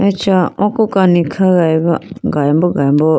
acha oko kani khayiboo galimbo galimbo.